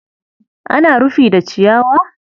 Ana rufi da ciyawa?